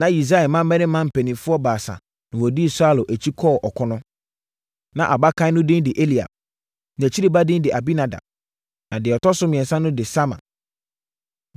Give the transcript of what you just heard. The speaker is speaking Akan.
Na Yisai mmammarima mpanimfoɔ baasa na wɔdii Saulo akyi kɔɔ ɔko no. Na abakan no din de Eliab, nʼakyiri ba din de Abinadab, ɛna deɛ ɔtɔ so mmiɛnsa no din de Sama.